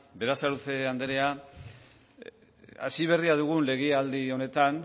berasaluze anderea hasi berria dugun legealdi honetan